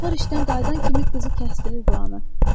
Amma uşaqlar işdən qayıdan kimi qızı kəsdirir buranı.